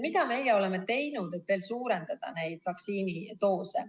Mida meie oleme teinud, et veel suurendada neid vaktsiinidoose?